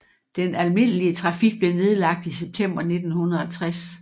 Den almindelige trafik blev nedlagt i september 1960